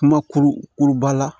Kuma kuru kuruba la